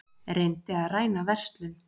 Reyndi að ræna verslun